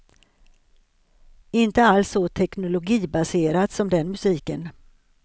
Inte alls så teknologibaserat som den musiken.